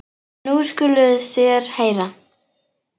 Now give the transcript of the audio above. En nú skuluð þér heyra.